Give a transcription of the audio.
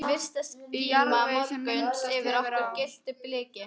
Í jarðvegi, sem myndast hefur á